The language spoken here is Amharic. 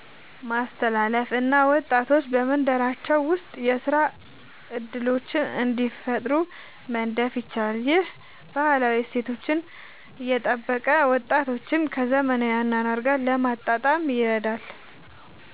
ማስተላለፍ እና ወጣቶች በመንደራቸው ውስጥ የሥራ እድሎችን እንዲፈጥሩ መደገፍ ይቻላል። ይህ ባህላዊ እሴቶችን እየጠበቀ ወጣቶችን ከዘመናዊ አኗኗር ጋር ለማጣጣም ይረዳል።